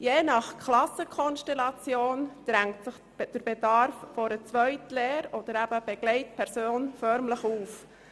Je nach Klassenkonstellation drängt sich der Bedarf nach einer Begleitperson förmlich auf.